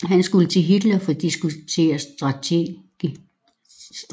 Han skulle til Hitler for at diskutere strategi